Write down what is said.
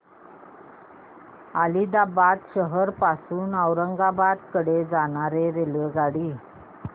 आदिलाबाद शहर पासून औरंगाबाद कडे जाणारी रेल्वेगाडी